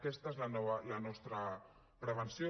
aquesta és la nostra prevenció